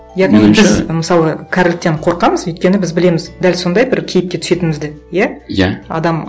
мысалы кәріліктен қорқамыз өйткені біз білеміз дәл сондай бір кейіпке түсетінімізді иә иә адам